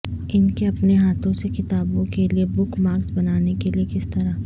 ان کے اپنے ہاتھوں سے کتابوں کے لئے بک مارکس بنانے کے لئے کس طرح